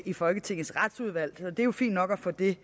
i folketingets retsudvalg det er jo fint nok at få det